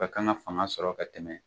Bɛ kan ka fanga sɔrɔ ka tɛmɛ